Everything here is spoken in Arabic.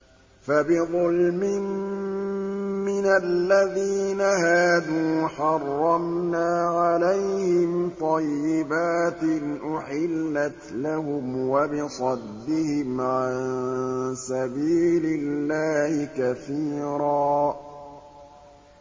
فَبِظُلْمٍ مِّنَ الَّذِينَ هَادُوا حَرَّمْنَا عَلَيْهِمْ طَيِّبَاتٍ أُحِلَّتْ لَهُمْ وَبِصَدِّهِمْ عَن سَبِيلِ اللَّهِ كَثِيرًا